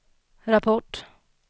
rapport